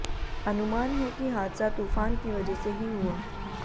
अनुमान है कि हादसा तूफान की वजह से ही हुआ